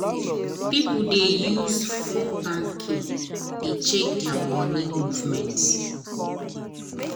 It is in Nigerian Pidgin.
as she dey too give people things na make she dey owe debt any how.